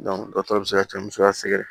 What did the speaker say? dɔtɔrɔ bɛ se ka cɛ musoya sɛgɛrɛ